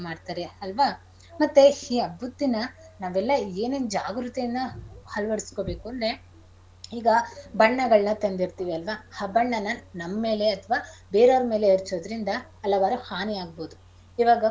ಮಾಡ್ತಾರೆ ಅಲ್ವಾ ಮತ್ತೆ ಈ ಹಬ್ಬದ ದಿನ ನಾವೆಲ್ಲ ಏನೇನ್ ಜಾಗೃತಿಯನ್ನ ಅಳವಡಿಸ್ಕೊಳ್ಬೇಕು ಅಂದ್ರೆ ಈಗ ಬಣ್ಣಗಳ್ನ ತಂದಿರ್ತಿವಿ ಅಲ್ವಾ ಆ ಬಣ್ಣನಾ ನಮ್ಮೇಲೆ ಅಥ್ವಾ ಬೇರೇವ್ರ್ ಮೇಲೆ ಎರ್ಚೋದ್ರಿಂದ ಹಲವಾರು ಹನಿ ಆಗ್ಬೋದು ಇವಾಗ.